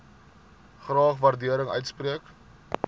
graag waardering uitspreek